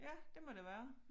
Ja det må det være